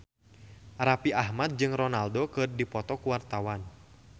Raffi Ahmad jeung Ronaldo keur dipoto ku wartawan